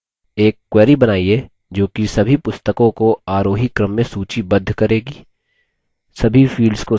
एक query बनाइए जोकि सभी पुस्तकों को आरोही क्रम में सूचीबद्ध करेगी